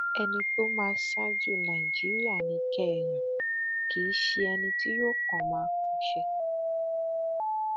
ẹni tó máa ṣáájú nàìjíríà ni kẹ ẹ yàn kì í ṣe ẹni tí yóò kàn máa pàṣẹ